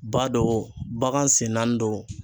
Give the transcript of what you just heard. Ba don o bagan sen naani don